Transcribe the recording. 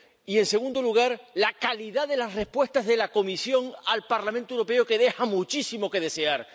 Y, en segundo lugar, la calidad de las respuestas de la Comisión al Parlamento Europeo, que deja muchísimo que desear.